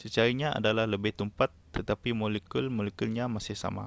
cecairnya adalah lebih tumpat tetapi molekul-molekulnya masih sama